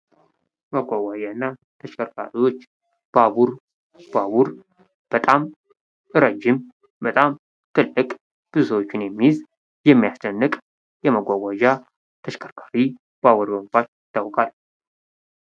ማጓጓጀና ተሽከርካሪዎች ባቡር ባቡር በጣም ረጅም ትልቅ ብዙ ሰዎች የሚይዝ የሚያስደንቅ ማጓጓጃ ተሽከርካሪ ባቡር በመባል ይታወቃል።